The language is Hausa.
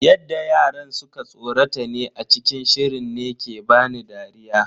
Yadda yaran suka tsorata ne a cikin shirin ne ke bani dariya.